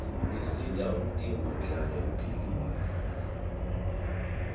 tisita umtimba uhlale upihlile